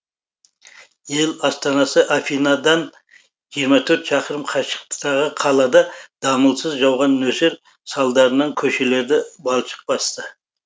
ел астанасы афинадан жиырма төрт шақырым қашықтықтағы қалада дамылсыз жауған нөсер салдарынан көшелерді балшық басты